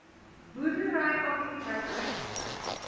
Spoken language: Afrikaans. boerdery aktiwiteite uitgesluit